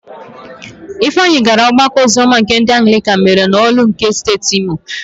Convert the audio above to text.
Ifeanyị gara ọgbakọ oziọma nke ndị Anglịkan mere n'Ọ̀lụ́ nke Steeti Imo.